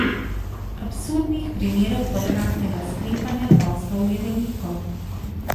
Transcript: Absurdnih primerov potratnega sklepanja poslov je veliko.